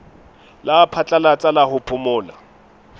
la phatlalatsa la ho phomola